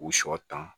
U sɔ dan